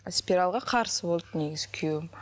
спиральге қарсы болды негізі күйеуім